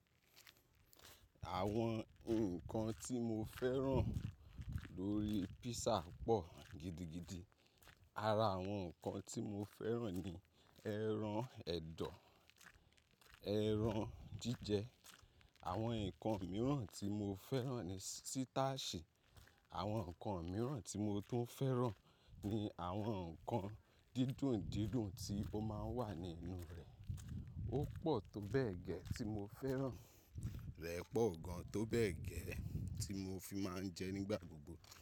Àwọn nǹkan tí mo fẹ́ràn lórí písà pọ̀ gidigidi. Ara àwọn nǹkan tí mo fẹ́ràn ni ẹran ẹ̀dọ̀, ẹran jíjẹ. Àwọn nǹkan mìíràn tí mo fẹ́ràn ni sítáàṣì. Àwọn nǹkan mìíràn tí mo tún fẹ́ràn ni àwọn nǹkan dídùn-dídùn tí ó máa ń wà nínú rẹ̀. Ó pọ̀ tó bẹ́ẹ̀ gẹ́ tí mo fẹ́ràn. Rẹ̀ pọ̀ gan tó bẹ́ẹ̀ gẹ́ tí mo fi máa ń jẹ ẹ nígbà gbogbo.